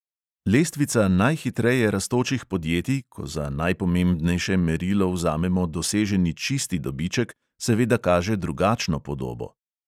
Lestvica najhitreje rastočih podjetij, ko za najpomembnejše merilo vzamemo doseženi čisti dobiček, seveda kaže drugačno podobo.